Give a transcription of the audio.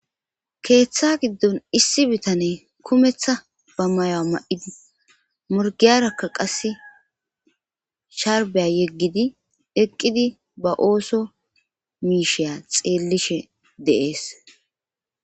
keeththa giddon issi bitane kumeththa ba mayoa ma7idi murgiyarakka qasse sharbiya yeggidi eqqidi ba ooso miisheya xeellishe deees